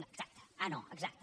no exacte ah no exacte